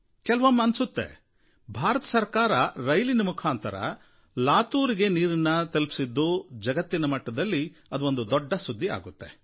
ಕೆಲವೊಮ್ಮೆ ಅನ್ನಿಸುತ್ತೆ ಭಾರತ ಸರಕಾರ ರೈಲಿನ ಮುಖಾಂತರ ಲಾತೂರಿಗೆ ನೀರನ್ನು ತಲುಪಿಸಿದ್ದು ಜಗತ್ತಿನ ಮಟ್ಟಿಗೆ ಒಂದು ಸುದ್ಧಿ ಆಗುತ್ತೆ